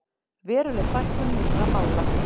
Veruleg fækkun nýrra mála